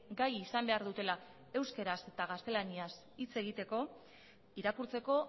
gai izan behar dutela euskaraz eta gaztelaniaz hitz egiteko irakurtzeko